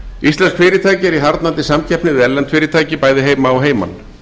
íslensk fyrirtæki eru í harðnandi samkeppni við erlend fyrirtæki bæði heima og heiman